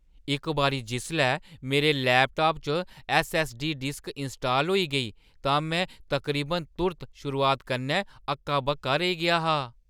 इक बारी जिसलै मेरे लैपटाप च ऐस्सऐस्सडी डिस्क इनस्टाल होई गेई तां मैं तकरीबन तुर्त शुरुआत कन्नै हक्का-बक्का रेही गेआ हा।